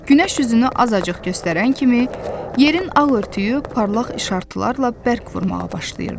Günəş üzünü azacıq göstərən kimi yerin ağ örtüyü parlaq işıltılarla bərk vurmağa başlayırdı.